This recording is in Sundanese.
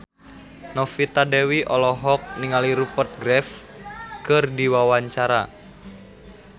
Novita Dewi olohok ningali Rupert Graves keur diwawancara